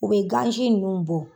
U bɛ gan ci ninnu bɔ.